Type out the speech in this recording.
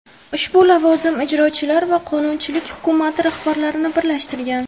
Ushbu lavozim ijrochilar va qonunchilik hukumati rahbarlarini birlashtirgan.